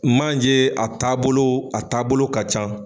Manje a taabolo a taabolo ka ca